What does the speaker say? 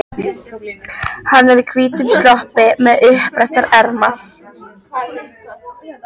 Hann er í hvítum sloppi með uppbrettar ermar.